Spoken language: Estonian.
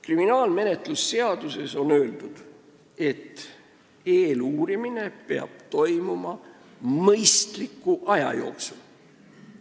Kriminaalmenetluse seadustikus on öeldud, et eeluurimine peab toimuma mõistliku aja jooksul.